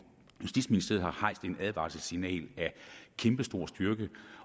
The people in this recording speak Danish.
justitsministeriet har hejst et advarselssignal af kæmpestor styrke